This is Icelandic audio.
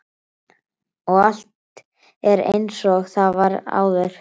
Og allt er einsog það var áður.